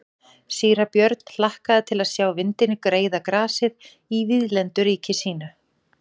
Síra Björn hlakkaði til að sjá vindinn greiða grasið í víðlendu ríki sínu.